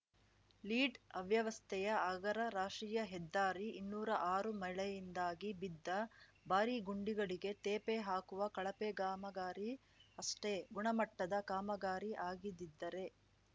lead ಅವ್ಯವಸ್ಥೆಯ ಆಗರ ರಾಷ್ಟ್ರೀಯ ಹೆದ್ದಾರಿ ಇನ್ನೂರಾ ಆರು ಮಳೆಯಿಂದಾಗಿ ಬಿದ್ದ ಭಾರಿ ಗುಂಡಿಗಳಿಗೆ ತೇಪೆ ಹಾಕುವ ಕಳಪೆ ಕಾಮಗಾರಿ ಅಷ್ಟೆ ಗುಣಮಟ್ಟದ ಕಾಮಗಾರಿ ಆಗಿದ್ದಿದ್ದರೆ